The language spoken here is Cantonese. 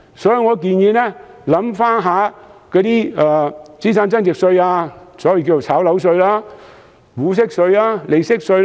所以，我建議政府從資產增值稅入手，例如所謂的"炒樓稅"、股息稅及利息稅。